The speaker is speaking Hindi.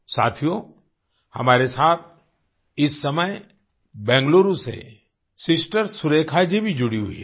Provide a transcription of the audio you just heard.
साथियो हमारे साथ इस समय बेंगलुरु से सिस्टर सुरेखा जी भी जुड़ी हुई हैं